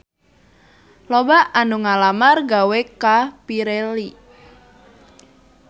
Loba anu ngalamar gawe ka Pirelli